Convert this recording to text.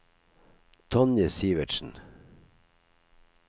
Tonje Sivertsen